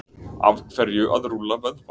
Af hverju að rúlla vöðva?